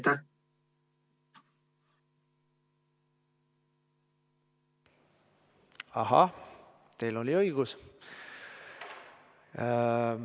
Ahah, teil on õigus.